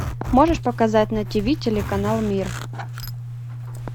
можешь показать на тв телеканал мир